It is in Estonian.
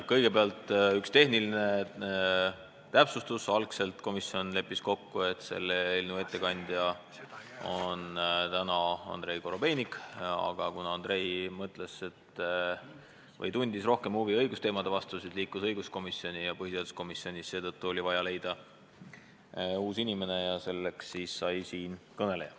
Kõigepealt üks tehniline täpsustus: esialgu leppis komisjon kokku, et selle eelnõu kannab täna ette Andrei Korobeinik, aga kuna Andrei tundis rohkem huvi õigusteemade vastu, siis suundus ta õiguskomisjoni ja seetõttu oli põhiseaduskomisjonil vaja leida uus inimene, kelleks sai siinkõneleja.